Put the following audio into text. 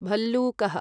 भल्लूकः